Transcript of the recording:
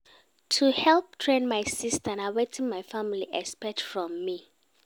To help train my sista na wetin my family expect from me.